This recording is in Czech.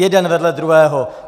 Jeden vedle druhého!